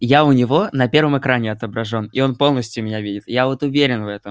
я у него на первом экране отображён и он полностью меня видит я вот уверен в этом